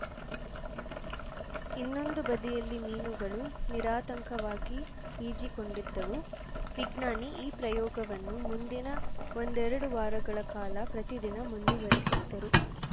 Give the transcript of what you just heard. ಇನ್ನೊಂದು ಬದಿಯಲ್ಲಿ ಮೀನುಗಳು ನಿರಾತಂಕವಾಗಿ ಈಜಿಕೊಂಡಿದ್ದವು ವಿಜ್ಞಾನಿ ಈ ಪ್ರಯೋಗವನ್ನು ಮುಂದಿನ ಒಂದೆರಡು ವಾರಗಳ ಕಾಲ ಪ್ರತಿದಿನ ಮುಂದುವರೆಸಿದರು